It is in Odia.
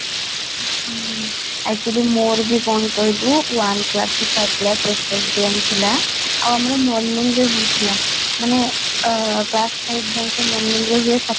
ହୁଁ, ଆଉ କେମିତି ମୋର ବି କ'ଣ କହିଲୁ one class ରୁ five class ଆଉ ଆମର morning ରୁ ହଉଥିଲା ମାନେ ଅଂ class five ଯାଏଁ morning ରୁ ହୁଏ